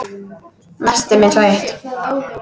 Næstum einsog eitt.